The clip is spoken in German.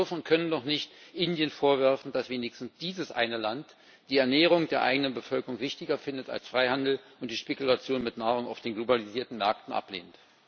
Sie dürfen und können doch nicht Indien vorwerfen, dass wenigstens dieses eine Land die Ernährung der eigenen Bevölkerung wichtiger findet als Freihandel und die Spekulation mit Nahrung auf den globalisierten Märkten ablehnt.